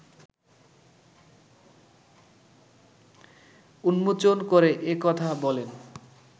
উন্মোচন করে এ কথা বলেন